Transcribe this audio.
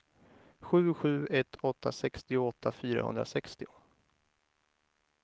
sju sju ett åtta sextioåtta fyrahundrasextio